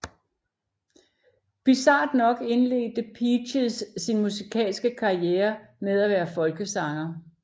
Bizart nok indledte Peaches sin musikalske karriere med at være folkesanger